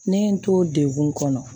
Ne ye n to degun kɔnɔ